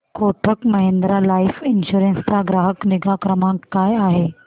Kotak Mahindra life insurance चा ग्राहक निगा क्रमांक काय आहे